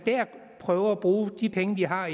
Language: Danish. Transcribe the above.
prøver at bruge de penge vi har